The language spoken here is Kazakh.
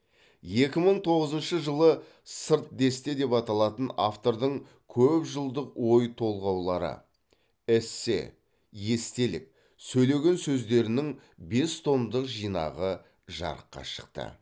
екі мың тоғызыншы жылы сыр десте деп аталатын автордың көп жылдық ой толғаулары эссе естелік сөйлеген сөздерінің бес томдық жинағы жарыққа шықты